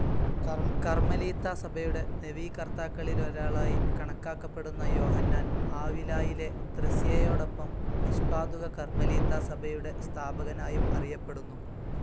കർമ്മലീത്താസഭയുടെ നവീകർത്താക്കളിലൊരാളായി കണക്കാക്കപ്പെടുന്ന യോഹന്നാൻ, ആവിലായിലെ ത്രേസ്യായോടൊപ്പം നിഷ്പാദുക കർമ്മലീത്താസഭയുടെ സ്ഥാപകനായും അറിയപ്പെടുന്നു.